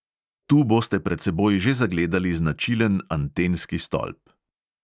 Tu boste pred seboj že zagledali značilen antenski stolp.